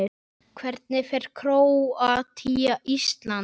Hvernig fer Króatía- Ísland?